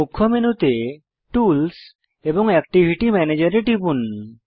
মুখ্য মেনুতে টুলস এবং অ্যাকটিভিটি ম্যানেজের এ টিপুন